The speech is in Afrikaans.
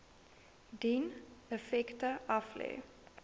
dien effekte aflê